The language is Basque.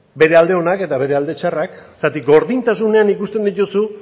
bere alde onak eta bere alde txarrak zergatik gordintasunean ikusten dituzu